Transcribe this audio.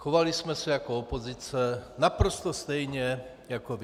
Chovali jsme se jako opozice, naprosto stejně jako vy.